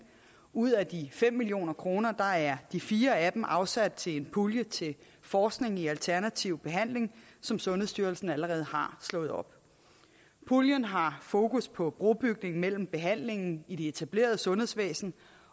ud af de fem million kroner er de fire af dem afsat til en pulje til forskning i alternativ behandling som sundhedsstyrelsen allerede har slået op puljen har fokus på brobygning mellem behandlingen i det etablerede sundhedsvæsen